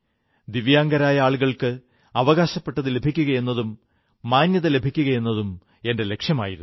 ദിവ്യാംഗരായ ആളുകൾക്ക് അവകാശപ്പെട്ടതു ലഭിക്കുകയെന്നതും മാന്യത ലഭിക്കുകയെന്നതും എന്റെ ലക്ഷ്യമായിരുന്നു